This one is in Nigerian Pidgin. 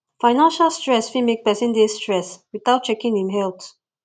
financial stress fit make person dey stress without checking im health